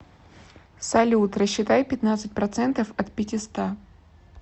салют рассчитай пятнадцать процентов от пятиста